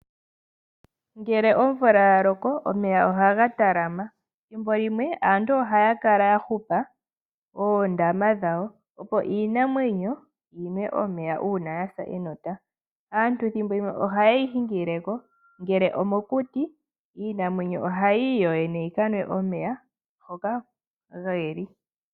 Ngele omvula yaloko omeya ohaga talama, thimbo limwe Aantu ohaya kala yahupa Oondama dhawo opo iinamwenyo yinwe omeya uuna yasa enota. Aantu thimbo limwe oha yeyi hingileko ngele omokuti iinamwenyo oha yii yoyene yikanwe omeya hoka ge li.